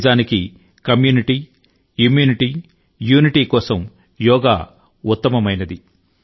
నిజానికి community immunity unity కోసం యోగా ఉత్తమమైనది